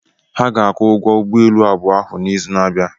Ha ga-akụ ụgwọ ụgbọelu abụọ ahụ n'izu na-abịa.